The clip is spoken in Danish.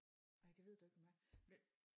Nej det ved du ikke hvem er blev